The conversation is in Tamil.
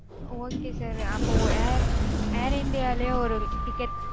okay sir அப்பொ air air india லயே ஒரு ticket